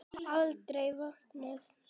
Alda vopnuð!